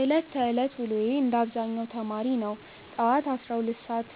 ዕለት ተዕለት ውሎዬ እንደ አብዛኛው ተማሪ ነው። ጠዋት 12